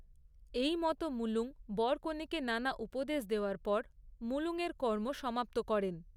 এইমত মুলুঙ বর কনেকে নানা উপদেশ দেওয়ার পর মলুঙয়ের কর্ম সমাপ্ত করেন।